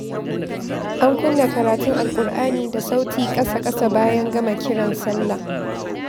An kunna karatun Alƙur'ani da sauti ƙasa-ƙasa bayan gama sauraren kiran salla.